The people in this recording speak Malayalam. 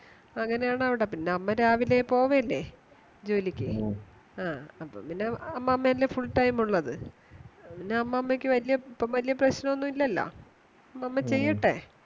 അങ്ങനെയാണവിടെ പിന്നെ അമ്മരാവിലെപോവല്ലേ ജോലിക്ക് ആ അപ്പോ പിന്നെ അമ്മമായല്ലേ full time ഉള്ളത് പിന്നെ അമ്മാമയ്ക് ഇപ്പോവല്യ പ്രശ്നോന്നുല്ല്യല്ലോ അമ്മാമ ചെയ്യട്ടെ